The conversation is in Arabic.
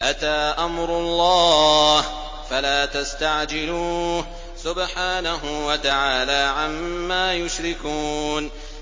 أَتَىٰ أَمْرُ اللَّهِ فَلَا تَسْتَعْجِلُوهُ ۚ سُبْحَانَهُ وَتَعَالَىٰ عَمَّا يُشْرِكُونَ